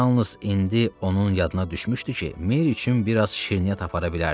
Yalnız indi onun yadına düşmüşdü ki, Mer üçün bir az şirniyyat apara bilərdi.